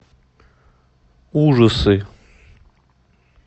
ужасы